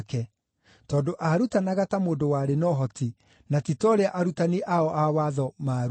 tondũ aarutanaga ta mũndũ warĩ na ũhoti, na ti ta ũrĩa arutani ao a watho maarutanaga.